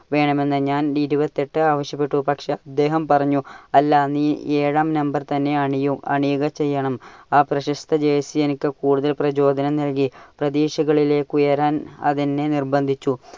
വേണമെന്ന്. ഞാൻ ഇരുപത്തി എട്ട് ആവശ്യപ്പെട്ടു. പക്ഷേ അദ്ദേഹം പറഞ്ഞു, അല്ല നീ ഏഴാം number തന്നെ അണിയും, അണിയുക ചെയ്യണം. ആ പ്രശസ്ത jersey എനിക്ക് കൂടുതൽ പ്രചോദനം നൽകി. പ്രതീക്ഷകളിലേക്ക് ഉയരാൻ അതെന്നെ നിർബന്ധിച്ചു.